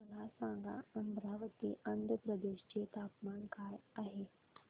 मला सांगा अमरावती आंध्र प्रदेश चे तापमान काय आहे